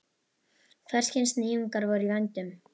Hvers kyns nýjungar voru í vændum.